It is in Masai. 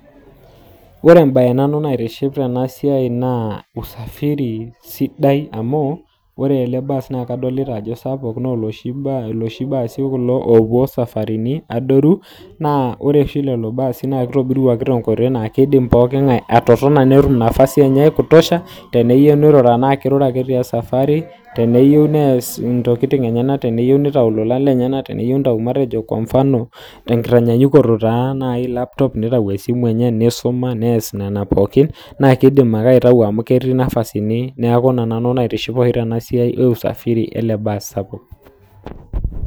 ore embaye naitiship tena siai naa usafiri sidai amuu ore kulo baasi naa ilosho loopuo isafaritin adoru naa ore esidano ekulo baasi naa kishori iltunganak muuj metotona esidai kidimayu ninye nirura ake ata etii esafari idim niyas siatin akeyie niyiou itii esafari